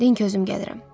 Deyin ki, özüm gəlirəm.